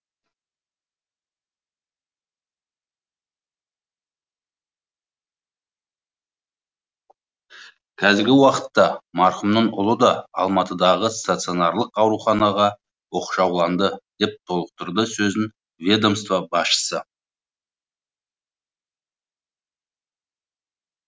қазіргі уақытта марқұмның ұлы да алматыдағы стационарлық ауруханаға оқшауланды деп толықтырды сөзін ведомство басшысы